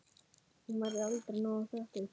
Hún verður aldrei nóg þökkuð.